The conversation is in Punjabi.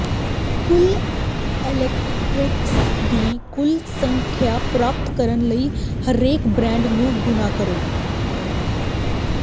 ਕੁੱਲ ਇਲੈਕਟ੍ਰੋਨਸ ਦੀ ਕੁਲ ਸੰਖਿਆ ਪ੍ਰਾਪਤ ਕਰਨ ਲਈ ਹਰੇਕ ਬਾਂਡ ਨੂੰ ਗੁਣਾ ਕਰੋ